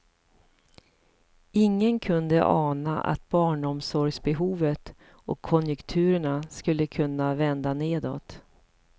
Ingen kunde ana att barnomsorgsbehovet och konjunkturerna skulle kunna vända nedåt.